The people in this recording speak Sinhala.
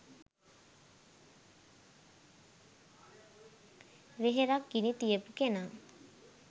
වෙහෙරක් ගිනි තියපු කෙනා